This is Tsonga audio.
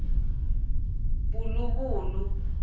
puluvulu